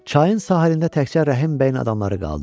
Çayın sahilində təkcə Rəhim bəyin adamları qaldı.